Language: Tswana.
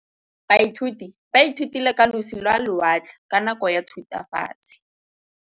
Baithuti ba ithutile ka losi lwa lewatle ka nako ya Thutafatshe.